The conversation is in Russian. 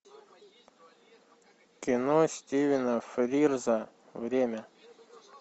кино стивена фрирза время